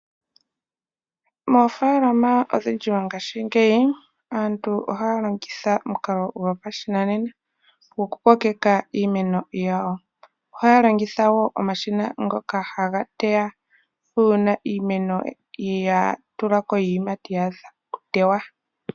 Moofaalama odhindji mongashingeyi aantu ohaya longitha omukalo gopashinanena goku kokeka iimeno yawo. Ohaya longitha omashina ngoka haga teya uuna iimeno ya tula ko iiyimati e tayi adha okutewa.